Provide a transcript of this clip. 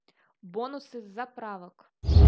бонусы с заправок